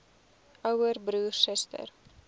ouer broer suster